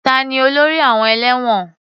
Ta ni olórí àwọn ẹlẹ́wọ̀n?